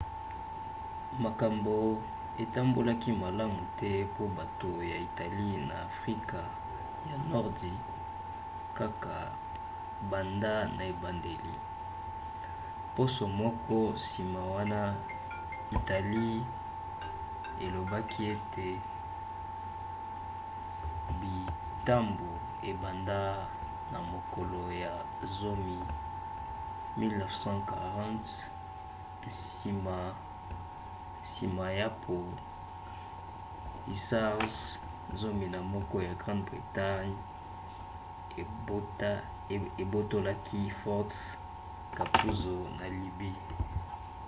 makambo etambolaki malamu te po bato ya italie na afrika ya nordi kaka banda na ebandeli. poso moko nsima wana italie elobaki ete bitumba ebanda na mokolo ya 10 1940 nsima ya po hussars 11 ya grande-bretagne ebotolaki fort capuzzo na libye